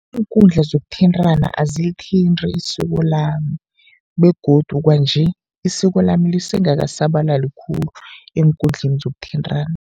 Iinkundla zokuthintana azilithinti isiko lami begodu kwanje, isiko lami lise ngakasabalali khulu eenkundleni zokuthintana.